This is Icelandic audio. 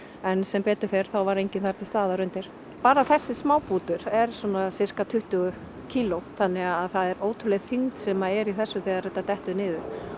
en sem betur fer þá var enginn þar til staðar undir bara þessi er svona sirka tuttugu kíló þannig að það er ótrúleg þyngd sem er í þessu þegar þetta dettur niður